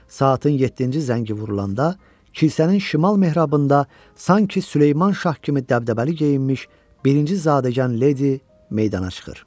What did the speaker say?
Saatin yeddinci zəngi vurulanda kilsənin şimal mehrabında sanki Süleyman şah kimi dəbdəbəli geyinmiş birinci zadəgan ledi meydana çıxır.